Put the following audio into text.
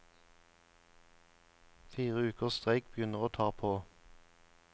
Fire ukers streik begynner å ta på.